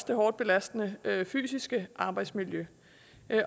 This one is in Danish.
det hårdt belastende fysiske arbejdsmiljø